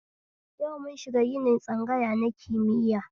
Yau mun shiga ginin tsangaya na kimiya